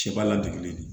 Ciba ladege don